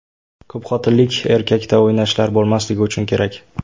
Ko‘pxotinlilik erkakda o‘ynashlar bo‘lmasligi uchun kerak.